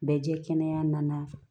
Bɛ jɛ kɛnɛya nana